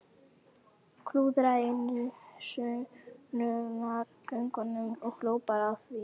Klúðraði einu sönnunargögnunum og hló bara að því!